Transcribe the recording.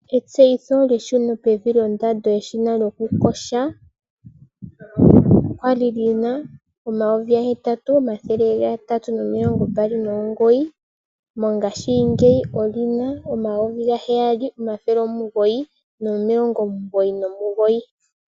Etseyitho lyeshuno pevi lyondando yeshina lyokuyoga. Olya li li na N$ 8 329, mongashingeyi oli na N$ 7 999.